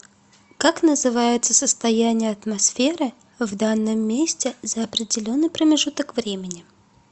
как называется состояние атмосферы в данном месте за определенный промежуток времени